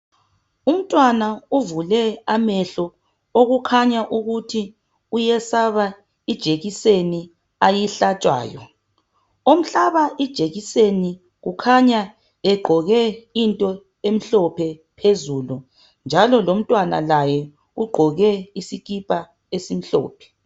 umuntwana ovule amehlo okutshengisela ukuthi uyesaba ijekiseni ayihlatshwayo omhlaba ijekiseni kukhanya egqoke into emhlophe phezulu njalo lomntwana ugqoke isikipa esimhlophe